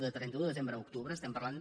de trenta un de desembre a octubre estem parlant